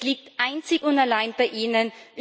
Es liegt einzig und allein bei Ihnen.